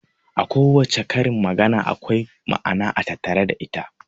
A kowace karin magana akwai ma'ana a tattare da ita.